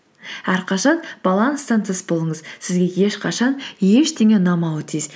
әрқашан баланстан тыс болыңыз сізге ешқашан ештене ұнамауы тиіс